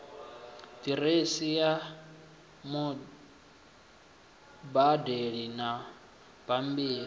diresi ya mubadeli na bambiri